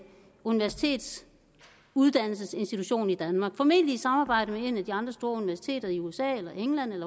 universitetsuddannelsesinstitution i danmark formentlig i samarbejde med et af de andre store universiteter i usa eller england